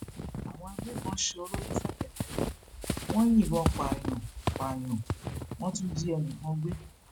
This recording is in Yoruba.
àwọn agbébọn sọrọ ní ṣèpẹtẹrí wọn yìnbọn pààyàn pààyàn wọn tún jí ẹnì kan gbé